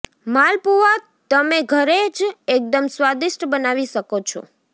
માલપુઆ તમે ઘરે જ એકદમ સ્વાદિષ્ટ બનાવી શકો છો